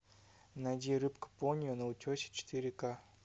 найди рыбка поньо на утесе четыре ка